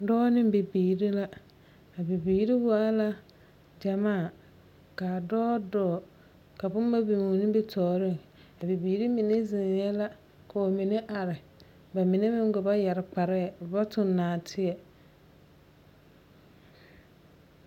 Dͻͻ ne bibiiri la, a bibiiri waa la gyamaa, ka a dͻͻ dͻͻŋ ka bomma biŋe o nimitͻͻreŋ. A bibiiri mine zeŋԑԑ la ka ba mine are, ba mine meŋ gba ba yԑre kparԑԑ, ba ba tuŋ nͻͻteԑ.